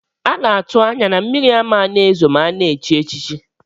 Ana atu anya na mmiri amana ezo ma ana echichi.